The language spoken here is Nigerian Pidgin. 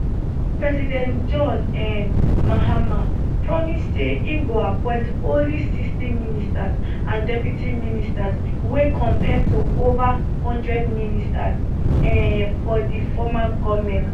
president john um mahama promise say im go appoint only 60 ministers and deputy ministers wey compare to ova one hundred ministers um for di former goment